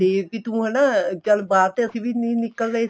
ਤੇ ਵੀ ਤੂੰ ਹਨਾ ਚੱਲ ਬਾਹਰ ਤੇ ਅਸੀਂ ਵੀ ਨਿਕਲ ਰਹੇ